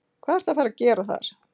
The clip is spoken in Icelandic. Hvað ertu að fara að gera þar?